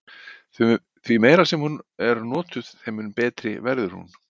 Því meira sem hún er notuð þeim mun betri verður hún.